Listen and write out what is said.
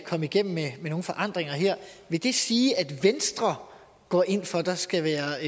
komme igennem med nogen forandring vil det sige at venstre går ind for at der skal være